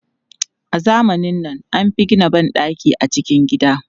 A zamanin nan, an fi gina ban ɗaki a cikin gida.